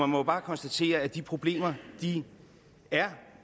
må jo bare konstatere at de problemer er